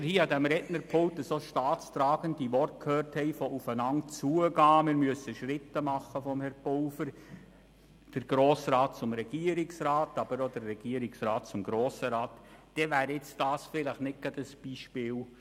Wenn wir gestern an diesem Rednerpult von Regierungsrat Pulver derart staatstragende Worte gehört haben wie jene, dass man aufeinander zugehen und sowohl vonseiten des Grossen Rats als auch des Regierungsrats Schritte machen müsse, dann wäre dies dafür gerade nicht ein solches Beispiel.